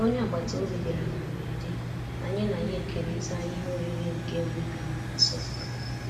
Onye agbata obi bịara na mberede, anyị na ya ekerita ihe oriri nke omenala na nsọpụrụ.